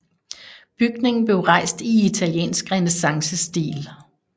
Bygningen blev rejst i italiensk renæssancestil